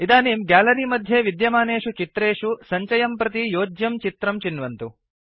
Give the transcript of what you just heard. इदानीं गैलरी मध्ये विद्यमानेषु चित्रेषु सञ्चयं प्रति योज्यं चित्रं चिन्वन्तु